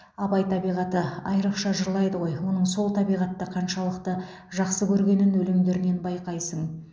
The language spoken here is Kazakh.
абай табиғатты айрықша жырлайды ғой оның сол табиғатты қаншалықты жақсы көргенін өлеңдерінен байқайсың